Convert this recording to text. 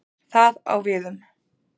Það á við um